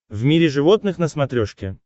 в мире животных на смотрешке